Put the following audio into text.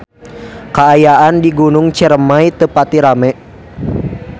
Kaayaan di Gunung Ciremay teu pati rame